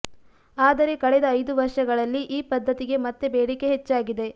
ಆದರೆ ಕಳೆದ ಐದು ವರ್ಷಗಳಲ್ಲಿ ಈ ಪದ್ಧತಿಗೆ ಮತ್ತೆ ಬೇಡಿಕೆ ಹೆಚ್ಚಾಗಿದೆ